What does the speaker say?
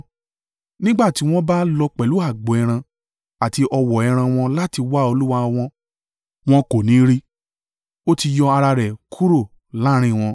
Nígbà tí wọ́n bá lọ pẹ̀lú agbo ẹran àti ọ̀wọ́ ẹran wọn láti wá Olúwa, wọn kò ní rí i, ó ti yọ ara rẹ̀ kúrò láàrín wọn.